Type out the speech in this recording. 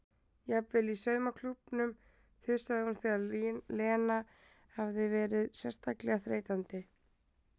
Jafnvel í saumaklúbbnum þusaði hún þegar Lena hafði verið sérstaklega þreytandi.